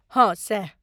हँ सैह।